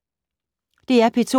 DR P2